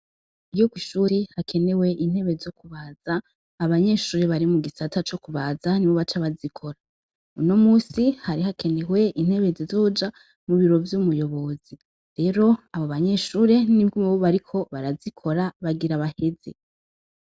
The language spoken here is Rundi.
Iyo kw'ishuri hakenewe intebe zo kubaza abanyeshure bari mu gisata co kubaza ni bo baca bazikora uno musi hari hakenewe intebe zizoja mu biro vy'umuyobozi rero abo banyeshure ni bwo bariko barazikora bagira baheze.